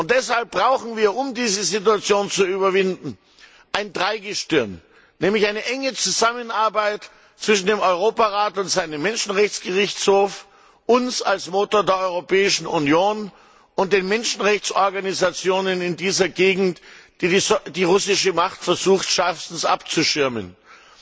Deshalb brauchen wir, um diese Situation zu überwinden, ein Dreigestirn, nämlich eine enge Zusammenarbeit zwischen dem Europarat und seinem Menschenrechtsgerichtshof, uns als Motor der Europäischen Union und den Menschenrechtsorganisationen in dieser Gegend, die die russische Macht schärfstens abzuschirmen versucht.